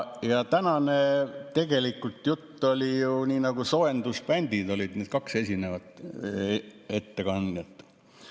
Ja tegelikult tänane jutt oli ju nii, et kaks esimest ettekandjat olid nagu soojendusbändid.